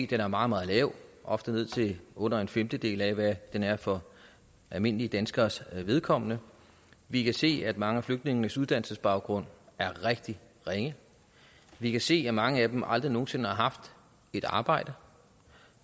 den er meget meget lav ofte ned til under en femtedel af hvad den er for almindelige danskeres vedkommende vi kan se at mange af flygtningenes uddannelsesbaggrund er rigtig ringe vi kan se at mange af dem aldrig nogen sinde har haft et arbejde